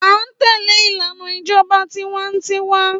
À ń tẹ́léè ìlànà ìjọba tiwańtiwa